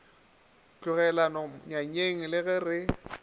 tlogelwago nyanyeng le ge re